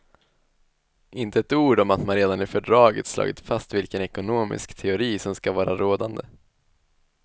Inte ett ord om att man redan i fördraget slagit fast vilken ekonomisk teori som skall vara rådande.